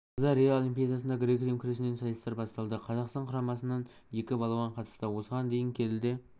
тамызда рио олимпиадасында грек рим күресінен сайыстар басталды қазақстан құрамасынан екі балуан қатысты осыған дейін келіде